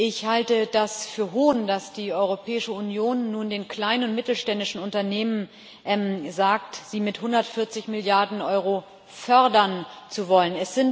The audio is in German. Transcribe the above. Ich halte das für Hohn, dass die Europäische Union nun den kleinen und mittelständischen Unternehmen sagt, sie mit 140 Milliarden Euro fördern zu wollen.